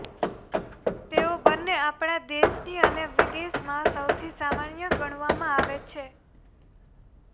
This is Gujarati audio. તેઓ બંને આપણા દેશની અને વિદેશમાં સૌથી સામાન્ય ગણવામાં આવે છે